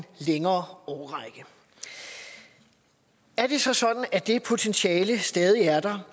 længere årrække er det så sådan at det potentiale stadig er der